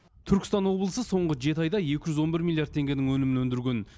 түркістан облысы соңғы жеті айда екі жүз он бір миллиард теңгенің өнімін өндірген